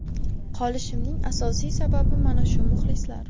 Qolishimning asosiy sababi mana shu muxlislar.